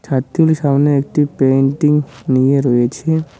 ছাত্রিগুলি সামনে একটি পেইন্টিং নিয়ে রয়েছে।